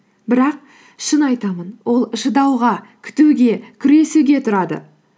бірақ шын айтамын ол шыдауға күтуге күресуге тұрады